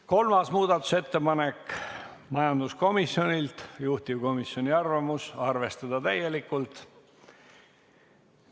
Kolmaski muudatusettepanek on majanduskomisjonilt, juhtivkomisjoni arvamus: arvestada seda täielikult.